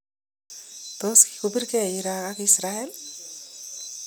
Tos Kikobirekee Iran ak Israel?